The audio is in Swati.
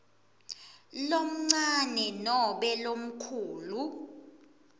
lomncane nobe lomkhulu